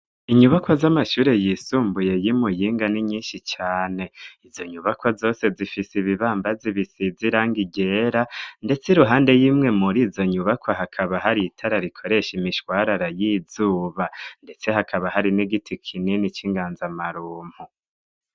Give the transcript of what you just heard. Inyubaka z'amashure yisumbuye y'imu yinga ni nyinshi cane izo nyubakwa zose zifise ibibambazi bisiziranga igera, ndetse i ruhande yimwe muri izo nyubakwa hakaba hari itara rikoresha imishwarara y'izuba, ndetse hakaba hari n'igiti kineni c'inganza amarumpu.